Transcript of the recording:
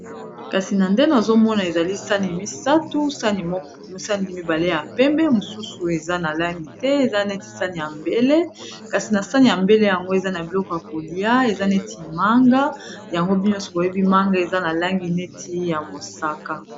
Kasi na ndenge nazomona ezali sani misatu sani mibale ya pembe mosusu eza na langi te eza neti sani ya mbele kasi na sani ya mbele yango eza na biloko ya kolia eza neti manga yango bino nyonso boyebi manga eza na langi neti ya mosaka.